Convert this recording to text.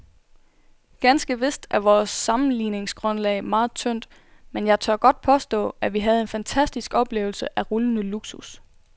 Ganske vist er vores sammenligningsgrundlag meget tyndt, men jeg tør godt påstå, at vi havde en fantastisk oplevelse af rullende luksus.